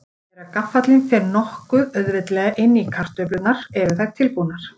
Þegar gaffallinn fer nokkuð auðveldlega inn í kartöflurnar eru þær tilbúnar.